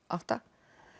átta